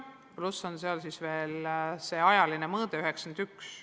Pluss on veel see ajaline mõõde, aasta 1991.